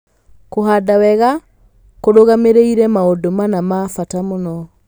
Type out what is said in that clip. Kũhanda wega kũrũgamĩrĩire maũndũ mana ma bata mũno;